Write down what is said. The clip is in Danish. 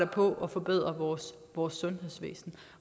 på at forbedre vores vores sundhedsvæsen